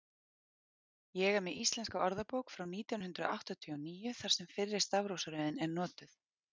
ég er með íslenska orðabók frá nítján hundrað áttatíu og níu þar sem fyrri stafrófsröðin er notuð